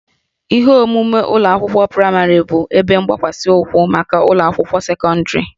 Ihe omume ụlọ akwụkwọ praịmarị bụ ebe mgbakwasị ụkwụ maka ụlọ akwụkwọ sekọndịrị